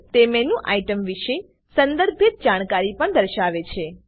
તે menu item વિષે સંદર્ભિત જાણકારી પણ દર્શાવે છે